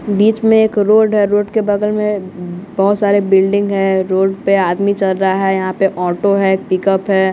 बीच में एक रोड है रोड के बगल में बहुत सारे बिल्डिंग है रोड पे आदमी चल रहा है यहाँ पे ऑटो है पिकअप है।